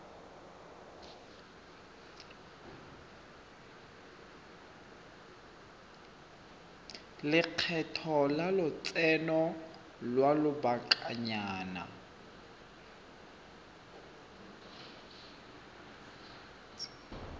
lekgetho la lotseno lwa lobakanyana